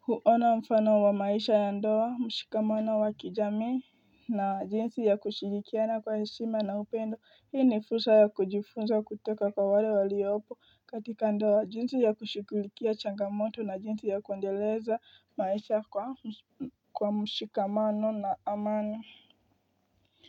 hu huona mfano wa maisha ya ndoa mshikamano wa kijamii na jinsi ya kushirikiana kwa heshima na upendo hii ni fursa ya kujifunza kutoka kwa wale waliyopo katika ndoa jinsi ya kushigulikia changamoto na jinsi ya kuendeleza maisha kwa mshikamano na amani.